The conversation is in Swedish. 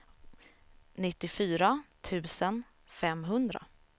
nittiofyra tusen femhundra